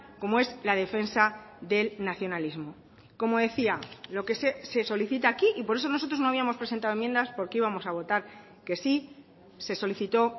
como es la defensa del nacionalismo como decía lo que se solicita aquí y por eso nosotros no habíamos presentado enmiendas porque íbamos a votar que sí se solicitó